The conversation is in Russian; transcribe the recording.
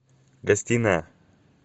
гостиная